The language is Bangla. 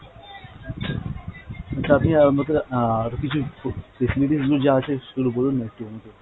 তো আপনি আমাকে আর কিছু আছে একটু বলুননা একটু আমাকে।